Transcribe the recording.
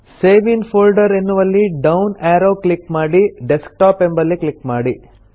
save in folder ಎನ್ನುವಲ್ಲಿ down arrow click ಮಾಡಿ desktop ಎಂಬಲ್ಲಿ ಕ್ಲಿಕ್ ಮಾಡಿ